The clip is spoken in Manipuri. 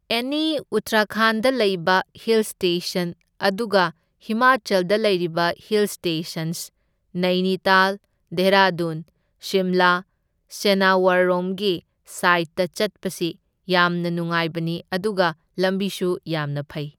ꯑꯦꯅꯤ ꯎꯇ꯭ꯔꯥꯈꯥꯟꯗ ꯂꯩꯔꯤꯕ ꯍꯤꯜ ꯁ꯭ꯇꯦꯁꯟ , ꯑꯗꯨꯒ ꯍꯤꯃꯥꯆꯜꯗ ꯂꯩꯔꯤꯕ ꯍꯤꯜ ꯁ꯭ꯇꯦꯁꯟꯁ, ꯅꯩꯅꯤꯇꯥꯜ, ꯙꯦꯔꯥꯙꯨꯟ, ꯁꯤꯝꯂꯥ ꯁꯅꯥꯋꯔꯔꯣꯝꯒꯤ ꯁꯥꯏꯠꯇ ꯆꯠꯄꯁꯤ ꯌꯥꯝꯅ ꯅꯨꯉꯥꯏꯕꯅꯤ, ꯑꯗꯨꯒ ꯂꯝꯕꯤꯁꯨ ꯌꯥꯝꯅ ꯐꯩ꯫